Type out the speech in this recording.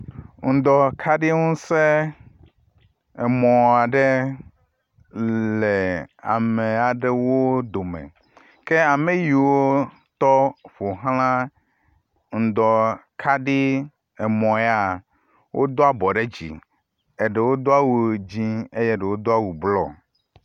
Ŋdɔkaɖiŋusẽ, emɔ aɖe le amewo dome. Ke ame yiwo tɔ ƒo xla ŋdɔkaɖi emɔ ya, wodo abɔ ɖe dzi. Aɖewo do awu dzĩ eye ɖewo do awu blɔ.